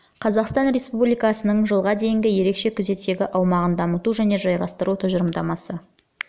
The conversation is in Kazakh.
қазақстан республикасының жылға дейінгі ерекше күзеттегі аумағын дамыту және жайғастыру тұжырымдамасы